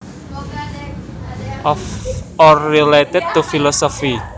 Of or related to philosophy